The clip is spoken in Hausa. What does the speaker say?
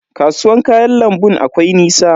Kasuwan kayan lambun akwai nisa?